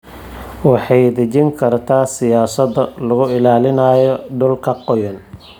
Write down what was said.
Waxay dejin kartaa siyaasado lagu ilaalinayo dhulalka qoyan.